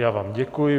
Já vám děkuji.